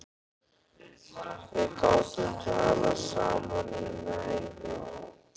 Við getum talað saman í næði